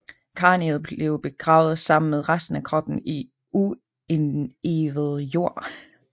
Kraniet blev begravet sammen med resten af kroppen i uindivet jord